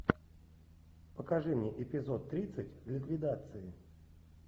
покажи мне эпизод тридцать ликвидации